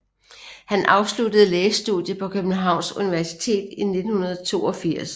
Han afsluttede lægestudiet på Københavns Universitet i 1982